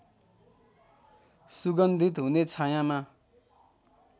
सुगन्धित हुने छायाँमा